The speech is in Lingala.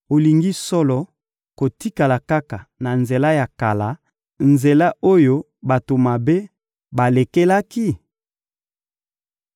Olingi solo kotikala kaka na nzela ya kala, nzela oyo bato mabe balekelaki?